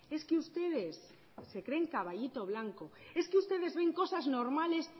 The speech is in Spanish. es que ustedes se creen caballito blanco es que ustedes ven cosas normales